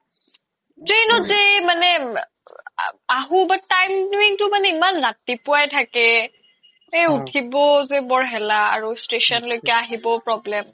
train ত যে মানে আহো but timing তো মানে ইমান ৰাতিপুৱাই থাকে এই ওথিব যে বৰ হেলা আৰু station লৈকে আহিবও problem